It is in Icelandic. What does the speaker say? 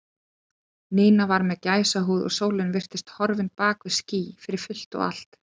Nína var með gæsahúð og sólin virtist horfin bak við ský fyrir fullt og allt.